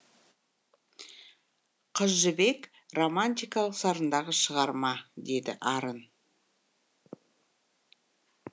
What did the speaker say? қыз жібек романтикалық сарындағы шығарма деді арын